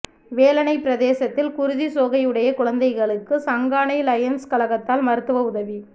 வேலணைப் பிரதேசத்தில் குருதிச் சோகை உடைய குழந்தைகளுக்கு சங்கானை லயன்ஸ் கழகத்தால் மருத்துவ உதவி